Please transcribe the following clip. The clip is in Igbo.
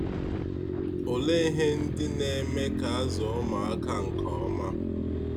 Olee ihe ndị na - eme ka azụọ ụmụ aka nke ọma?